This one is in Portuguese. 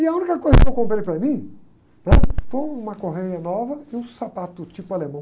E a única coisa que eu comprei para mim, né? Foi uma correia nova e um sapato tipo alemão.